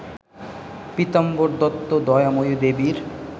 পীতাম্বর দত্ত দয়াময়ী দেবীর